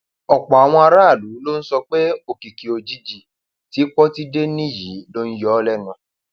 ọpọ àwọn aráàlú ló ń sọ pé òkìkí òjijì tí pọtidé ní yìí ló ń yọ ọ lẹnu